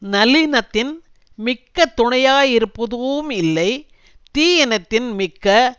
நல்லினத்தின் மிக்க துணையாயிருப்பதூஉம் இல்லை தீயினத்தின் மிக்க